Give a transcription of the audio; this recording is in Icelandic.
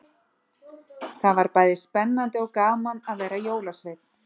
Það var bæði spennandi og gaman að vera jólasveinn.